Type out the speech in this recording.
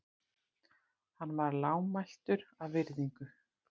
Hann varð lágmæltur af virðingu.